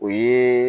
O ye